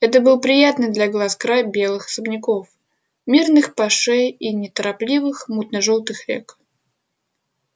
это был приятный для глаз край белых особняков мирных пашей и неторопливых мутно-желтых рек